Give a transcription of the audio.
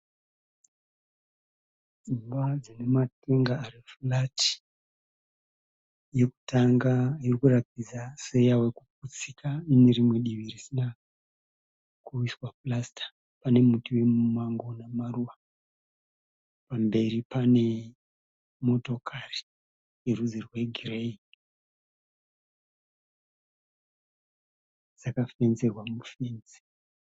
Imba dzinematenga ari furati. Yekutanga irikuratidza seyavekuputsika inerimwe divi risina kuiswa purasita. Pane muti wemumango unemaruva. Pamberi pane motokari inerudzi rwegireyi. Yakafenzerwa mufenzi.